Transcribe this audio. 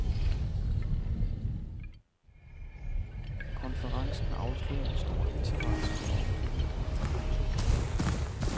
Konferencen afslørede en stor interesse for området. punktum